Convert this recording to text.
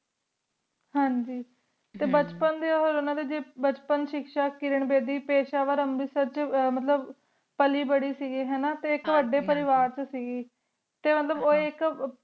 ਹਾਂਜੀ ਬਚਪਨ ਦੇ ਓਹਨਾ ਦੇ ਜੀ ਬਚਪਨ ਸ਼ਿਕ੍ਸ਼ਾ ਕਿਰਣ ਵੇਦੀ ਪੇਸ਼ਾਵਰ ਮਤਲਬ ਪਾਲੀ ਭਾਰੀ ਸੀਗੀ ਹੈਨਾ ਆਇਕ ਵਡੀ ਪਰਿਵਾਰ ਸੀਗੀ ਟੀ ਮਤਲਬ ਓਹ ਆਇਕ